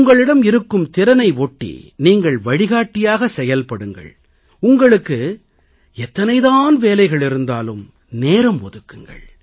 உங்களிடம் இருக்கும் திறனை ஒட்டி நீங்கள் வழிகாட்டியாக செயல்படுங்கள் உங்களுக்கு எத்தனை தான் வேலைகள் இருந்தாலும் நேரம் ஒதுக்குங்கள்